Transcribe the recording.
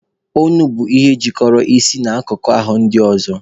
Onu bụ ihe jikọrọ isi na akụkụ ahụ ndị ọzọ.